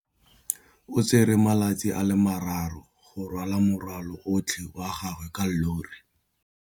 O tsere malatsi a le marraro go rwala morwalo otlhe wa gagwe ka llori.